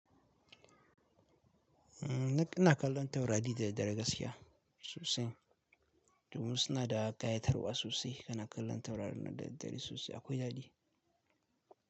Umm, ni ina kallon taurari da daddare gaskiya sosai. Domi suna da ƙayatarwa sosai. Kana kallon taurari na dare sosai akwai daɗi.